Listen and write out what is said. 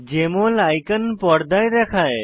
JML icon পর্দায় দেখায়